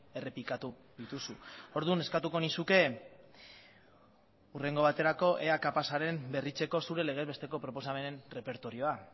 errepikatu dituzu orduan eskatuko nizuke hurrengo baterako ea kapaza zaren berritzeko zure legez besteko proposamenen errepertorioa